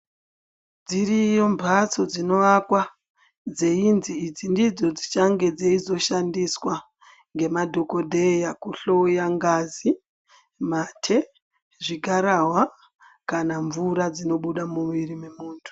Dziriyo mbatso dzinoakwa dzeinzi idzi ndidzo dzichange dzeizoshandiswa ngemadhokodheya kuhloya ngazi ,mate ,zvigarahwa kana mvura dzinonga dzeibuda mumuviri wemuntu.